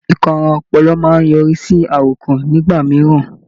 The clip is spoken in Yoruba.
Ìkanra ọpọlọ máa ń yọrí sí àròkàn nígbà mìíràn.